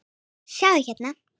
sjáðu, hérna.